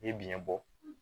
I ye biyɛn bɔ